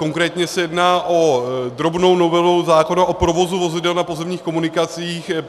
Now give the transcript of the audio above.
Konkrétně se jedná o drobnou novelu zákona o provozu vozidel na pozemních komunikacích.